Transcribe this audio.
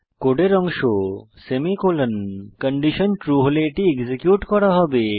কোডের অংশ semicolon condition true হলে এটি এক্সিকিউট করা হবে